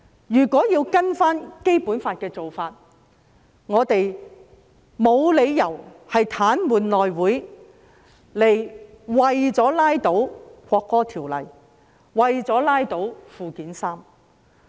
依循《基本法》，我們沒有理由癱瘓內務委員會，以拉倒《國歌條例草案》和《基本法》附件三。